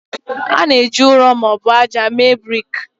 A na-eji ụrọ ma ọ bụ ájá mee brik.